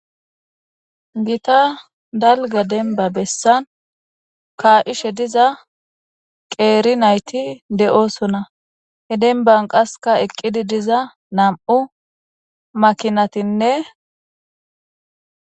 Gita dalga demba bessan kaa'ishe diza qeeri nayti de'oosona. He demban qasseka eqidi diza nam'u makinati de'etees.